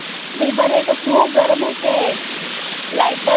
मी बरी आहे. इथं खूप गरम होतय. light च